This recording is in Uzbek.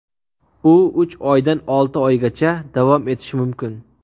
U uch oydan olti oygacha davom etishi mumkin.